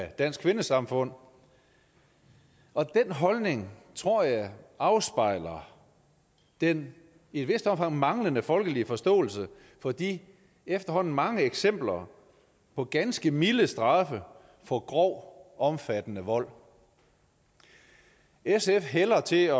dansk kvindesamfund og den holdning tror jeg afspejler den i et vist omfang manglende folkelige forståelse for de efterhånden mange eksempler på ganske milde straffe for grov omfattende vold sf hælder til at